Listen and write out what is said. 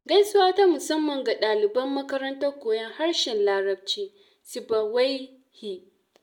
Gaisuwa ta musamman ga ɗaliban makarantar koyon harshen larabci Sibawaihi.